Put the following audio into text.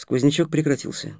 сквознячок прекратился